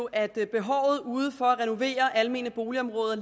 at behovet for at renovere de almene boligområder